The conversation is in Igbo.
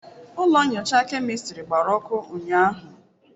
Ụlọ nyocha kemịstịrị gbara ọkụ ụnyaahụ.